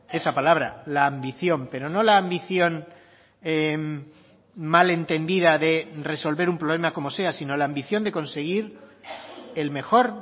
esa palabra la ambición pero no la ambición mal entendida de resolver un problema como sea sino la ambición de conseguir el mejor